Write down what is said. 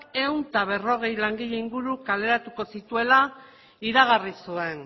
ehun eta berrogei langile inguru kaleratuko zituela iragarri zuen